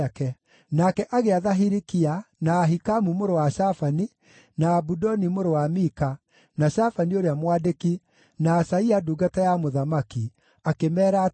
Nake agĩatha Hilikia, na Ahikamu mũrũ wa Shafani, na Abudoni mũrũ wa Mika, na Shafani ũrĩa mwandĩki, na Asaia ndungata ya mũthamaki, akĩmeera atĩrĩ: